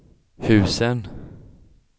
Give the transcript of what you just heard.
husen